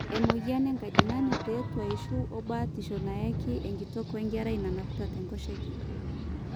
emweyian enkajang'ani te tuaishu o batisho nayake enkitok wenkerai nanapita te nkoshoke